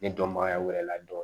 Ne dɔnbagaya wɛrɛ la dɔn.